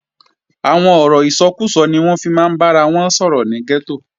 Àwọn ọ̀rọ̀ ìsọkúsọ ni wọ́n máa ń fi bára wọn sọ̀rọ̀ ní gẹ́tò